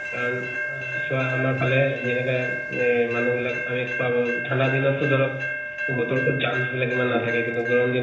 কাৰণ আহ চোৱা আমাৰ ফালে যেনেকা আহ মানুহ বিলাক আমি খোৱা বোৱা ঠান্দা দিনত টো ধৰক বতৰ তো germs বিলাক ইমান নাথাকে। এইতো টো গৰম দিনত